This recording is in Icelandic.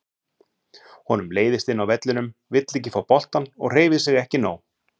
Honum leiðist inni á vellinum, vill ekki fá boltann og hreyfir sig ekki nóg.